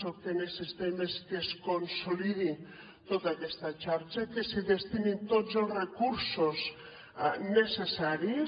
el que necessitem és que es consolidi tota aquesta xarxa que s’hi destinin tots els recursos necessaris